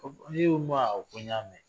awɔ ko n y'a mɛn